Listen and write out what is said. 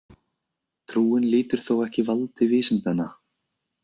Trúin lýtur þó ekki valdi vísindanna.